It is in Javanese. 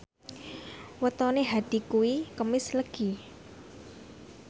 wetone Hadi kuwi Kemis Legi